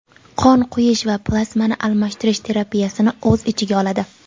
qon quyish va plazmani almashtirish terapiyasini o‘z ichiga oladi.